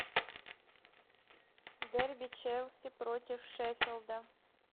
дерби челси против шеффилда